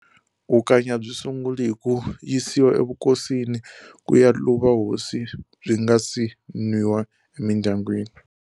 Vukanyi a byi sunguli hi ku yisiwa evukosini ku ya luva hosi byi nga si nwiwa emindyangwini.